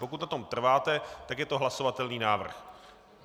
Pokud na tom trváte, tak je to hlasovatelný návrh.